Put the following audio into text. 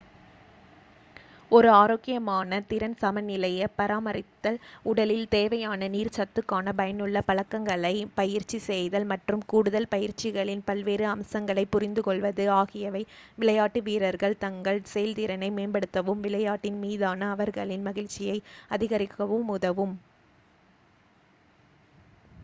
ஒரு ஆரோக்கியமான திறன் சமநிலையைப் பராமரித்தல் உடலில் தேவையான நீர் சத்துக்கான பயனுள்ள பழக்கங்களைப் பயிற்சி செய்தல் மற்றும் கூடுதல் பயிற்சிகளின் பல்வேறு அம்சங்களைப் புரிந்துகொள்வது ஆகியவை விளையாட்டு வீரர்கள் தங்கள் செயல்திறனை மேம்படுத்தவும் விளையாட்டின் மீதான அவர்களின் மகிழ்ச்சியை அதிகரிக்கவும் உதவும்